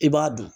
I b'a dun